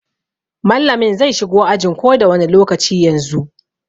Mallamin zai shigo ajin ko da wani lokaci daga yanzu.